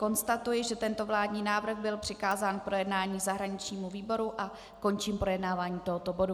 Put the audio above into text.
Konstatuji, že tento vládní návrh byl přikázán k projednání zahraničnímu výboru, a končím projednávání tohoto bodu.